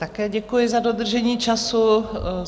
Také děkuji za dodržení času.